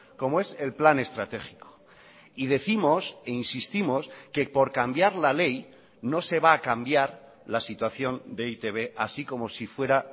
como es el plan estratégico y décimos e insistimos que por cambiar la ley no se va a cambiar la situación de e i te be así como si fuera